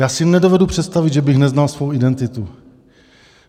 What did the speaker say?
Já si nedovedu představit, že bych neznal svou identitu.